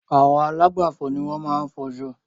Àwọn alágbàfò ni wọ́n maá n fo aṣọ